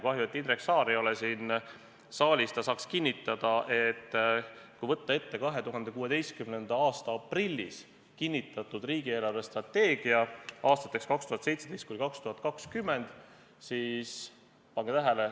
Kahju, et Indrek Saar ei ole siin saalis, ta saaks kinnitada, et kui võtta ette 2016. aasta aprillis kinnitatud riigi eelarvestrateegia aastateks 2017–2020, siis – pange tähele!